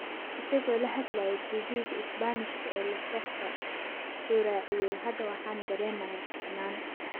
Isagoo la hadlayay TV-ga Isbaanishka ee La Sexta wuxuu raaciyay: “Hadda waxaan dareemayaa fiicnaan.